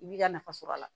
I b'i ka nafa sɔr'a la